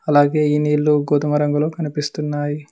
అలాగే ఈ నీళ్లు గోధుమ రంగులో కనిపిస్తున్నాయి.